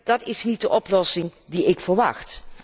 Dat is niet de oplossing die ik verwacht.